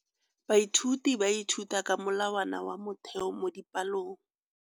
Baithuti ba ithuta ka molawana wa motheo mo dipalong.